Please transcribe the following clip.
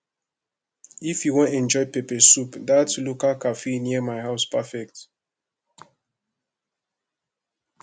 if you wan enjoy pepper soup that local cafe near my house perfect